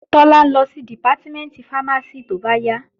Tọ́lá ń lọ sí Dìpátímẹ̀ntì fámásì tóbáyà